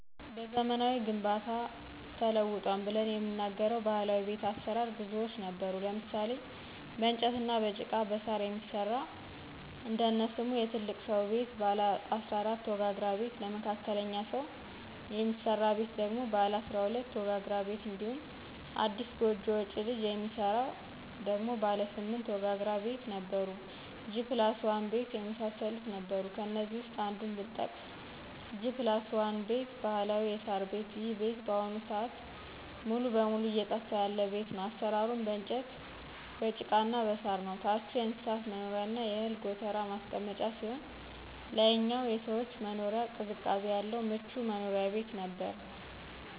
በዘመናዊ ግንባታ ተውጧል ብለን የምንናገረው ባህላዊ ቤት አሰራር ብዙዎች ነበሩ ለምሳሌ :- በእንጨትና በጭቃ በሳር የሚሰራ እነሱሙ የትልቅ ስው ቤት ባለ 14 ወጋግራ ቤት ለመካከለኞ ሰው የሚስራ ቤት ደግሞ ባለ 12 ወጋግራ ቤት እንዲሁም አዲስ ጎጆ ወጭ ልጅ የሚሰራ ደግሞ ባለ 8 ወጋግራ ቤት ነበሩ G+1 ቤት የመሳሰሉት ነበሩ ከእነዚህ ውስጥ አንዱን ብጠቅስ G+1 ባህላዊ የሳር ቤት ይሄ ቤት በአሁኑ ስአት ሙሉ በሙሉ እየጠፋ ያለ ቤት ነው አሰራሩም በእንጨት በጭቃና በሳር ነው ታቹ የእንስሳት መኖሪያና የእህል ጎተራ ማስቀመጫ ሲሆን ላይኛው የሰዎች መኖሪያ ቅዝቃዜ ያለው ምቹ መኖሪያ ቤት ነበር።